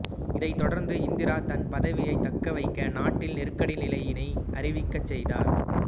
இதைத் தொடர்ந்து இந்திரா தன் பதவியைத் தக்க வைக்க நாட்டில் நெருக்கடி நிலையினை அறிவிக்கச் செய்தார்